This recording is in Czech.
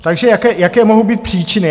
Takže jaké mohou být příčiny?